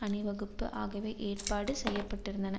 அணிவகுப்பு ஆகியவை ஏற்பாடு செய்ய பட்டிருந்தன